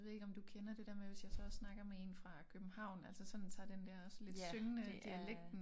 Det ved jeg ikke om du kender det der med hvis jeg så snakker med en fra København altså sådan tager den der lidt syngende dialekten øh